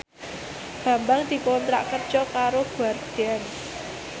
Bambang dikontrak kerja karo Guardian